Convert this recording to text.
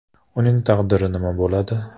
Uning taqdiri nima bo‘ladi?